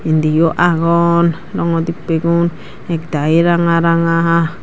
indiyo agon rongo dippey gun ekdayi ranga ranga.